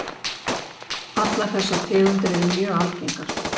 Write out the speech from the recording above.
Allar þessar tegundir eru mjög algengar.